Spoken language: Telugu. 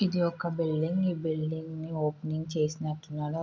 ఇది ఒక బిల్డింగ్ ఈ బిల్డింగ్ ఓపెనింగ్ చేసినట్లు ఉన్నాడు.